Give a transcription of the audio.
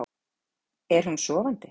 Er hún sofandi?